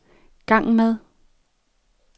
gang med